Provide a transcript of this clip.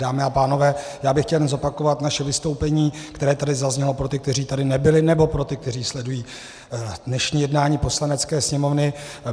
Dámy a pánové, já bych chtěl jenom zopakovat naše vystoupení, které tady zaznělo, pro ty, kteří tady nebyli, nebo pro ty, kteří sledují dnešní jednání Poslanecké sněmovny.